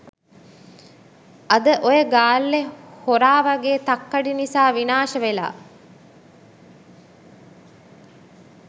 අද ඔය ගාල්ලෙ හොරාවගේ තක්කඩි නිසා විනාශ වෙලා